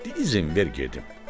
Dizin ver gedim.